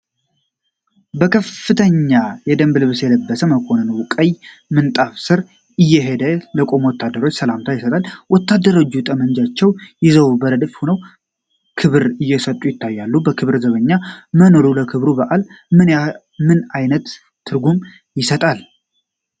ከፍተኛ የደንብ ልብስ የለበሰ መኮንን ወደ ቀይ ምንጣፍ ስር እየሄደ ለቆሙ ወታደሮች ሰላምታ ይሰጣል። ወታደሮቹ ጠመንጃቸውን ይዘው በረድፍ ሆነው ክብር እየሰጡ ይታያል። የክብር ዘበኛ መኖሩ ለክብረ በዓሉ ምን አይነት ትርጉም ይሰጣል?